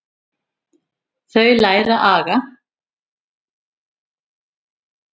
Þau læra aga.